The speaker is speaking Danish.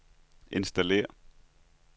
installere